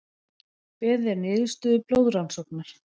Beðið er niðurstöðu blóðrannsóknar